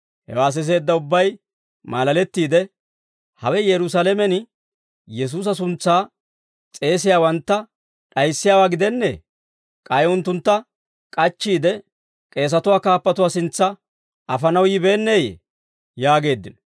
Hewaa siseedda ubbay maalalettiide, «Hawe Yerusaalamen Yesuusa suntsaa s'eesiyaawantta d'ayissiyaawaa gidennee? K'ay unttuntta k'achchiide, k'eesatuwaa kaappatuwaa sintsa afanaw yibeenneeyye?» yaageeddino.